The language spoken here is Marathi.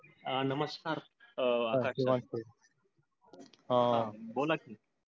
आह नमस्कार आह बोला कि.